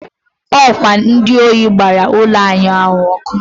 ọ kwa ndị ohi gbara ụlọ ahịa ọkụ.